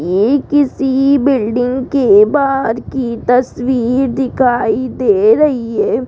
ये किसी बिल्डिंग के बाहर की तस्वीर दिखाई दे रही है।